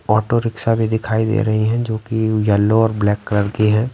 Auto rickshaw भी दिखाई दे रही हैं जो कि येल्लो और ब्लैक कलर की है।